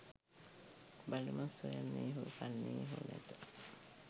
බලුමස් සොයන්නේ හෝ කන්නේ හෝ නැත